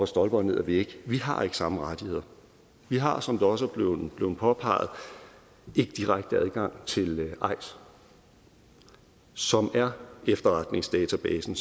stolper og ned ad vægge vi har ikke samme rettigheder vi har som det også er blevet påpeget ikke direkte adgang til eis som er efterretningsdatabasen